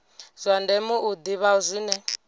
zwa ndeme u ḓivha zwine